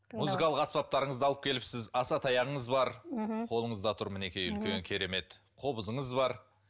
музыкалық аспаптарыңызды алып келіпсіз асатаяғыңыз бар мхм қолыңызда тұр мінекей үлкен керемет қобызыңыз бар